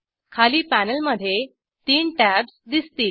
खाली पॅनेलमधे तीन टॅब्ज दिसतील